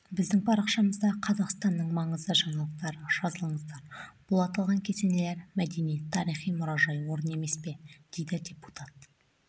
біздің парақшамызда қазақстанның маңызды жаңалықтары жазылыңыздар бұл аталған кесенелер мәдени-тарихи мұражай орын емес пе дейді депутат